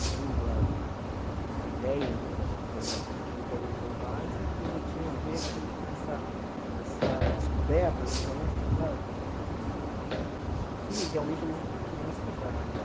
Segundo a a a ideia né, da na verdade, de quem organizou o básico, tinha a ver com com essa essa descoberta né dos alunos da da do que realmente eles queriam estudar né.